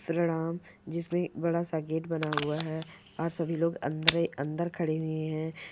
प्रणाम जिसमें बड़ा सा गेट बना हुआ है और सभी लोग अंदरे अंदर खड़े हुए है।